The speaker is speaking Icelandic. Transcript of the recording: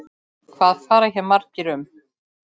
Hvað fara hér margir um?